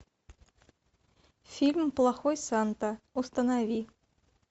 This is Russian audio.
фильм плохой санта установи